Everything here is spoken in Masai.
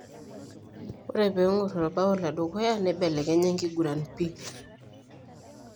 Ore pengor orbao ledukuya, neibelekenya enkiguran pii.